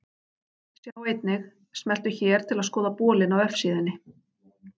Sjá einnig: Smelltu hér til að skoða bolinn á vefsíðunni.